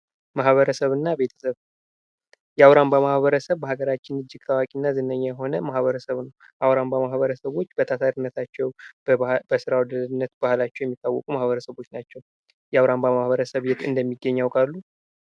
ማህበረሰብ እና ቤተሰብ ፦የአውራምባ ማህበረሰብ በሃገራችን እጅግ ታዋቂ እና ዝነኛ የሆነ ማህበረሰብ ነው። የአውራምባ ማህበረሰቦች በታታሪነታቸው፣ በስራ ወዳድነት ባህላቸው የሚታወቁ ማህበረሰቦች ናቸው። የአውራምባ ማህበረሰብ የት እንደሚገኝ ያውቃሉ?